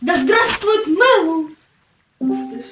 да здравствует мэллоу